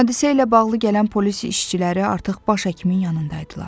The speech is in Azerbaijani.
Hadisə ilə bağlı gələn polis işçiləri artıq baş həkimin yanında idilər.